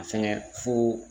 A fɛngɛ fo